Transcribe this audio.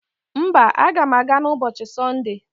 Mba, aga m aga n'ubochi Sonde.